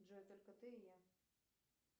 джой только ты и я